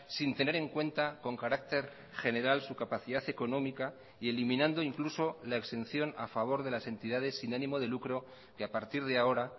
sin tener en cuenta con carácter general su capacidad económica y eliminando incluso la exención a favor de las entidades sin ánimo de lucro que a partir de ahora